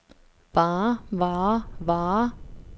varer varer varer